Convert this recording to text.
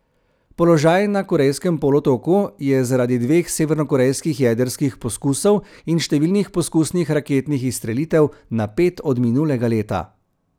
Položaj na Korejskem polotoku je zaradi dveh severnokorejskih jedrskih poskusov in številnih poskusnih raketnih izstrelitev napet od minulega leta.